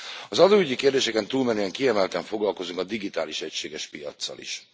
Az adóügyi kérdéseken túlmenően kiemelten foglalkozunk a digitális egységes piaccal is.